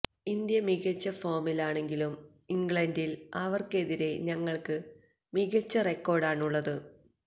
India മികച്ച ഫോമിലാണെങ്കിലും ഇംഗ്ലണ്ടില് അവര്ക്കെതിരെ ഞങ്ങള്ക്ക് മികച്ച റെക്കോര്ഡാണുള്ളത്